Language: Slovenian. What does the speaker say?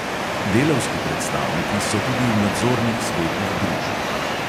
Delavski predstavniki so tudi v nadzornih svetih družb.